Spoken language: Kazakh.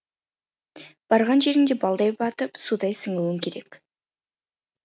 барған жеріңде балдай батып судай сіңуің керек